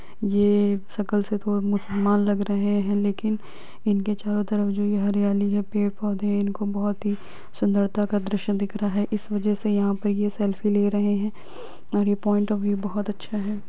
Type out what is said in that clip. ये शकल से थोड़ा मुस्लमान लग रहे है लेकिन इनके चारो तरफ जोकि हरियाली है पेड़ पौधे है इनको बहुत ही सुंदरता का दृश्य दिख रहा है इस वजह से यहा पर ये सेल्फी ले रहे है और ये पॉइंटऑफ व्यू बहुत अच्छा है।